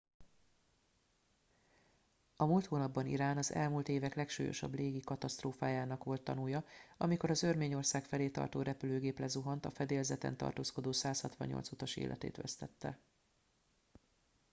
a múlt hónapban irán az elmúlt évek legsúlyosabb légi katasztrófájának colt tanúja amikor az örményország felé tartó repülőgép lezuhant a fedélzeten tartózkodó 168 utas életét vesztette